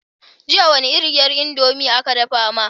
Jiya wace iriyar indomie aka dafa ma?